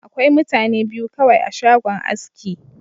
Akwai mutane biyu kawai a shagon aski.